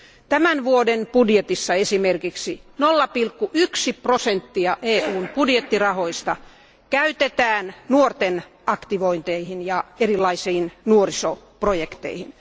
tämän vuoden budjetissa esimerkiksi 0,1 prosenttia EUn budjettirahoista käytetään nuorten aktivointeihin ja erilaisiin nuorisoprojekteihin.